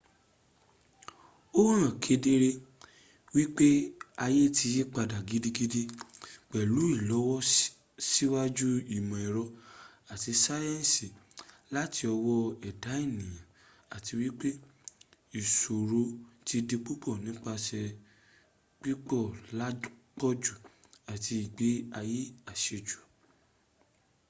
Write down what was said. ó hàn kedere wípé ayé ti yípadà gidigidi pèlú ìlọsíwájú ìmọ̀-èrọ àti sáyẹ̀nsì láti ọwó ẹ̀dá ènìyàn àti wípé ìṣòro ti di púpọ̀ nípasè pípọ̀ làpọ̀jù àti ìgbé ayé àsẹjù